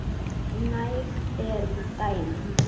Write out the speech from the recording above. Næg eru dæmin.